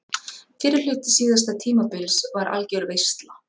Fyrri hluti síðasta tímabils var algjör veisla.